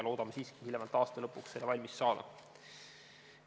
Loodame aga siiski hiljemalt aasta lõpuks analüüsi valmis saada.